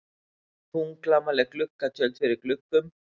Þunglamaleg gluggatjöld fyrir gluggum.